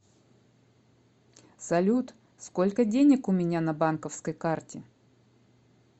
салют сколько денег у меня на банковской карте